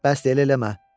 Bəsdir elə eləmə.